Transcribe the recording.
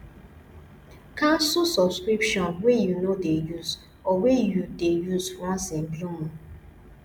cancel subscription wey you no dey use or wey you dey use once in a blue moon